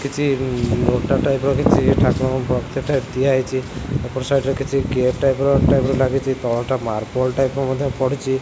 କିଛି ନୋଟା ଟାଇପ୍ ର କିଛି ଠାକୁରଙ୍କ ବକେଟେ ଦିଆହେଇଚି ଏପଟ ସାଇଡ଼୍ ରେ କିଛି ଗେଟ୍ ଟାଇପ୍ ର ଟାଇପ୍ ଲାଗିଚି ତଳଟା ମାର୍ବଲ୍ ଟାଇପ ର ମଧ୍ୟ ପଡ଼ିଚି।